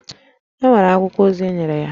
È nwere akwụkwọ ozi enyere ya?